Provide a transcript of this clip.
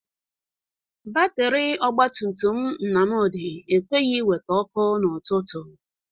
Batịrị ọgbatumtum Nnamdị ekweghi iwete ọkụ n'ụtụtụ.